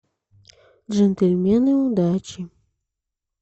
джентльмены удачи